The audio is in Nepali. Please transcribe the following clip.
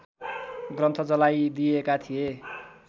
ग्रन्थ जलाइदिएका थिए